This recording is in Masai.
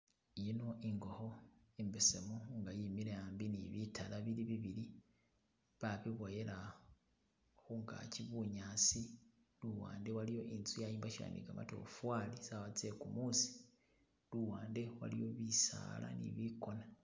Yino ingokho imbesemu inga yimile hambi ni bitala bili bibili babiboyela khungagi bunyasi luwande waliyo inzu yayombakyiwa ni gamatofali tsawa tse gumusi luwande waliyo bisaala ni bigona